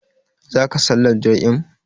Zaka sallar jam'in.